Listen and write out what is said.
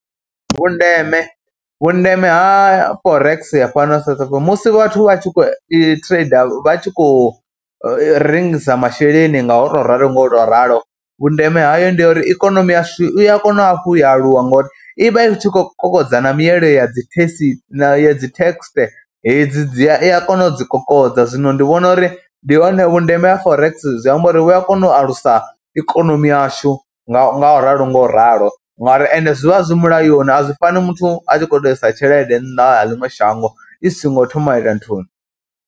Vhundeme, vhundeme ha Forex fhano South Africa musi vhathu vha tshi khou i thireida, vha tshi khou rengisa masheleni nga u tou ralo nga u tou ralo, vhundeme hayo ndi ya uri ikonomi yashu i ya kona hafhu ya aluwa ngori i vha i tshi khou kokodza na mielo ya dzi thekisi, ya dzi thekhese hedzi dzi ya i a kona u dzi kokodza. Zwino ndi vhona uri ndi hone vhundeme ha Forex zwi amba uri vhu a kona u alusa ikonomi yashu nga u ralo nga u ralo, ngauri ende zwi vha zwi mulayoni, a zwi fani muthu a tshi khou tou i sa tshelede nnḓa ha ḽiṅwe shango i songo thoma a ita nthuni.